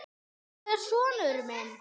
Hvar er sonur minn?